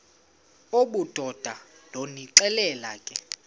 obudoda ndonixelela ke